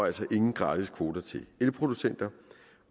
altså ingen gratiskvoter til elproducenter